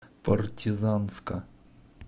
партизанска